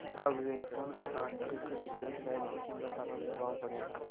अविवेकपूर्ण कटान से किस तरह शहर की सुन्दरता पर प्रभाव पड़ेगा